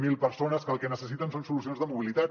zero persones que el que necessiten són solucions de mobilitat